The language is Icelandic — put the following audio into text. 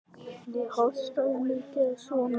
Ég hóstaði mikið og svona.